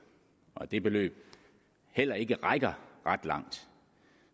og at det beløb heller ikke rækker ret langt